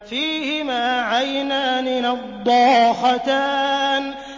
فِيهِمَا عَيْنَانِ نَضَّاخَتَانِ